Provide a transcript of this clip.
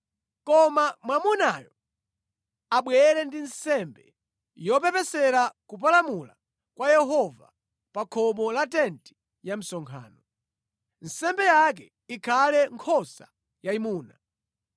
Koma mwamunayo abwere ndi nsembe yopepesera kupalamula kwa Yehova pa khomo la tenti ya msonkhano. Nsembe yake ikhale nkhosa yayimuna